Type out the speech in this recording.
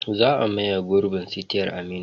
Za a maye gurbin sitiyar Aminu.